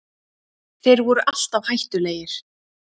Þeir voru alltaf hættulegir